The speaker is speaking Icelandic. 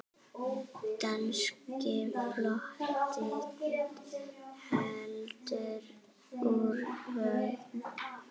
Danski flotinn heldur úr höfn!